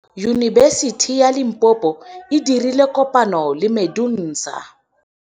Yunibesiti ya Limpopo e dirile kopanyô le MEDUNSA.